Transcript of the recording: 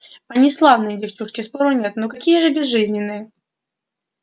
они славные девчушки спору нет но какие же безжизненные